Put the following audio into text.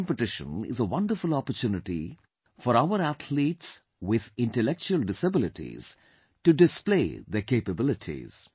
This competition is a wonderful opportunity for our athletes with intellectual disabilities, to display their capabilities